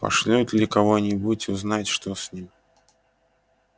пошлют ли кого-нибудь узнать что с ним